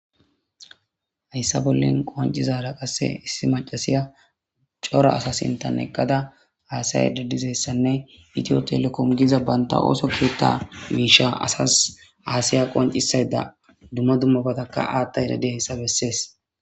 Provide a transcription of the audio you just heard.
hayssa bollen qoncizara qasse issi macasiya cora asa sintan eqqada aasay dadizessanne itiyo telekomgiza banta ooso kiyotta miisha asas aasiya qoncisayda dumma dummobataka aatta erade hayssa bessees